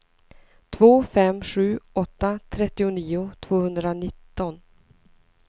två fem sju åtta trettionio tvåhundranitton